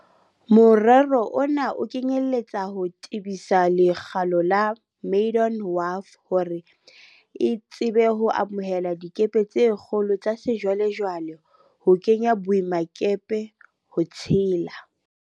Morero ona o kenyeletsa ho tebisa lekgalo la Maydon Wharf hore e tsebe ho amohela dikepe tse kgolo tsa sejwale-jwale ho kena boemakepe, ho tshela